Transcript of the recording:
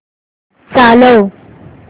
चालव